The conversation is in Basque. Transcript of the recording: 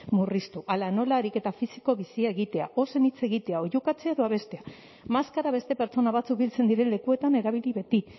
murriztu hala nola ariketa fisiko bizia egitea ozen hitz egitea oihukatzea babestea maskara beste pertsona batzuk biltzen diren lekuetan erabili beti